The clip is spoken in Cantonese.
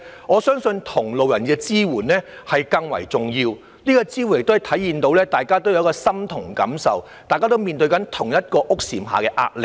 我相信同路人的支援更為重要，亦可體現大家感同身受，面對同一屋簷下的壓力。